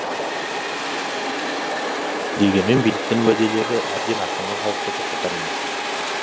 дегенмен биліктің уәделері әбден ашынған халықты тоқтатар емес